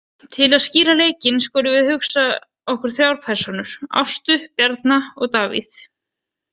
Til að skýra leikinn skulum við hugsa okkur þrjár persónur, Ástu, Bjarna og Davíð.